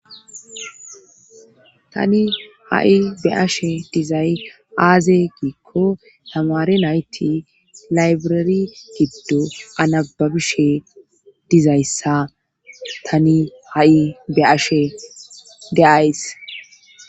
Tani ha'i be ashe dizay aaze giikko hamaare nayti laybrari giddo anababishe dizayssa tani ha'i be ashe deays